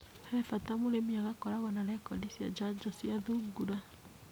He bata mũrimĩ agakorwo na rekondi cia njanjo cia thungura.